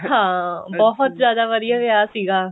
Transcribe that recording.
ਹਾਂ ਬਹੁਤ ਜਿਆਦਾ ਵਧੀਆ ਵਿਆਹ ਸੀਗਾ